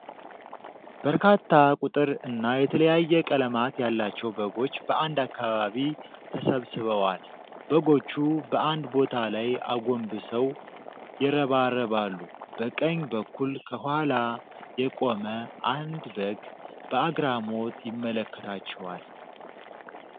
በርካታ ቁጥር እና የተለያየ ቀለማት ያላቸው በጎች በአንድ አካባቢ ተሰብስበዋል። በጎቹ በአንድ ቦታ ላይ አጎንብሰው ይረባረባሉ። በቀኝ በኩል ከኋላ የቆመ አንድ በግ በአግራሞት ይመለከታቸዋል።